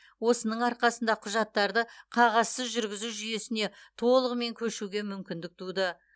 осының арқасында құжаттарды қағазсыз жүргізу жүйесіне толығымен көшуге мүмкіндік туды